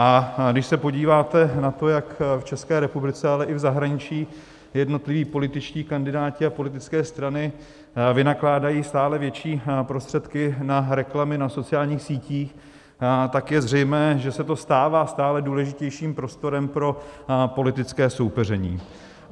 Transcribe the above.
A když se podíváte na to, jak v České republice, ale i v zahraničí jednotliví političtí kandidáti a politické strany vynakládají stále větší prostředky na reklamy na sociálních sítích, tak je zřejmé, že se to stává stále důležitějším prostorem pro politické soupeření.